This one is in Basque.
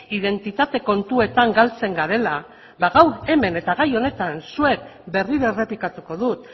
identitate kontuetan galtzen garela ba gaur hemen eta gai honetan zuek berriro errepikatuko dut